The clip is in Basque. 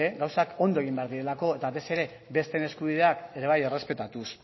gauzak ondo egin behar direlako eta batez ere besteen eskubideak ere bai errespetatuz